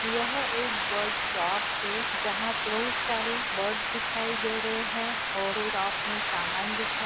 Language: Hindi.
यह एक बर्ड शॉप है। जहा बहोत सारे बर्ड दिखाई दे रहे है। और उस शॉप मे सामान दिखाई--